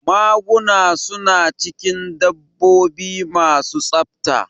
Maguna su na cikin dabbobi ma su tsafta